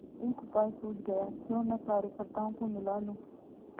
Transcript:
एक उपाय सूझ गयाक्यों न कार्यकर्त्ताओं को मिला लूँ